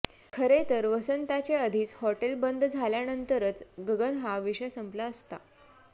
खरे तर वसंताचे आधीचे हॉटेल बंद झाल्यानंतरच गगन हा विषय संपला असता